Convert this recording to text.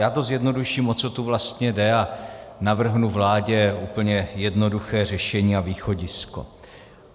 Já to zjednoduším, o co tu vlastně, jde a navrhnu vládě úplně jednoduché řešení a východisko.